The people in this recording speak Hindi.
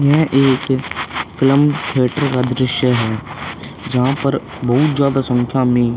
यह एक फिल्म थ्रेटर का दृश्य है जहां पर बहुत ज्यादा संख्या में --